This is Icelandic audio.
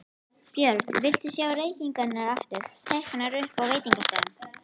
Björn: Viltu sjá reykingar aftur teknar upp á veitingastöðum?